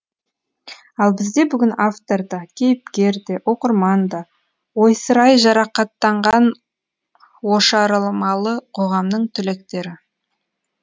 ал бізде бүгін автор да кейіпкер де оқырман да ойсырай жарақаттанған ошарылмалы қоғамның түлектері